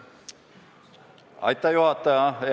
Austatud juhataja!